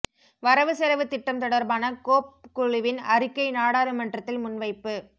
வரவு செலவுத் திட்டம் தொடர்பான கோப் குழுவின் அறிக்கை நாடாளுமன்றத்தில் முன்வைப்பு